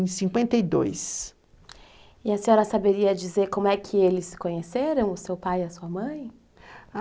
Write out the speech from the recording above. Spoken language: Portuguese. em 52. E a senhora saberia dizer como é que eles se conheceram, o seu pai e a sua mãe?